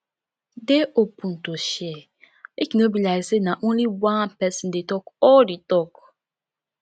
dey open to share make e no be like sey na only one person dey talk all di talk